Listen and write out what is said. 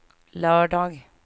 lördag